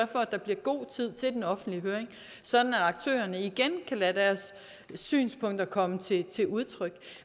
for at der bliver god tid til den offentlige høring sådan at aktørerne igen kan lade deres synspunkter komme til udtryk